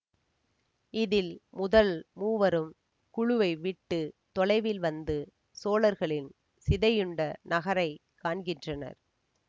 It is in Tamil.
இதில் முதல் மூவரும் குழுவை விட்டு தொலைவில் வந்து சோழர்களின் சிதையுண்ட நகரை காண்கின்றனர்